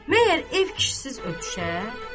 Məgər ev kişisiz ötüşər?